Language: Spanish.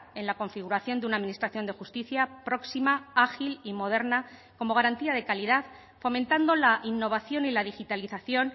en la configuración de una administración de justicia próxima ágil y moderna como garantía de calidad fomentando la innovación y la digitalización